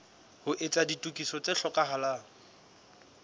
ho etsa ditokiso tse hlokahalang